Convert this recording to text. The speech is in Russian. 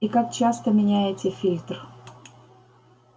и как часто меняете фильтр